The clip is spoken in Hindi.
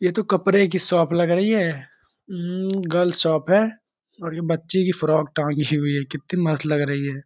ये तो कपड़े की शोप लग रही है | उम्म गर्ल्स शोप है और ये बच्ची की फ्रॉक टांगी हुई है और ये कितनी मस्त लग रही है |